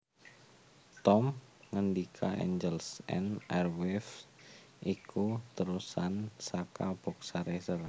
Tom ngendika Angels and Airwaves iku térusan saka Boxcar Racer